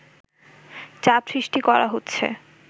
চাপ সৃষ্টি করা হচ্ছে”